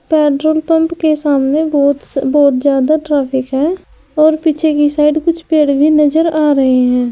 Petrol pump के सामने बहुत स बहुत ज्यादा ट्रैफिक है और पीछे की साइड कुछ पेड़ भी नजर आ रहे हैं।